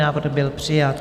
Návrh byl přijat.